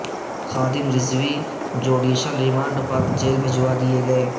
خادم Rizvi judicial remand پر jail بھجوا دیئے گئے